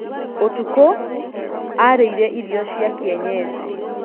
Ũtuko, aarĩire irio cia kĩenyeji.